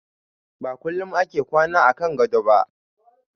Ba kullum ake kwana a kan gado ba.